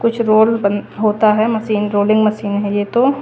कुछ रोल बन होता है मशीन रोलिंग मशीन है ये तो--